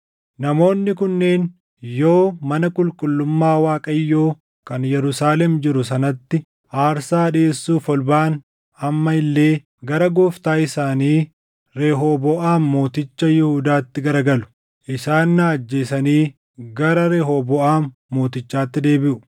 Namoonni kunneen yoo mana qulqullummaa Waaqayyoo kan Yerusaalem jiru sanatti aarsaa dhiʼeessuuf ol baʼan amma illee gara gooftaa isaanii Rehooboʼaam mooticha Yihuudaatti garagalu. Isaan na ajjeesanii gara Rehooboʼaam Mootichaatti deebiʼu.”